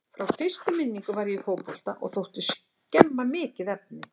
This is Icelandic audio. Frá fyrstu minningu var ég í fótbolta og þótti snemma mikið efni.